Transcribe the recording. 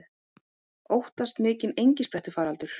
Óttast mikinn engisprettufaraldur